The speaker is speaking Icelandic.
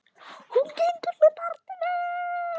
Hún gengur með barn mitt.